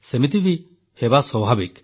ସେମିତି ହେବା ବି ସ୍ୱାଭାବିକ